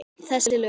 Þessi lög?